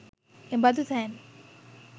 එබඳු තැන්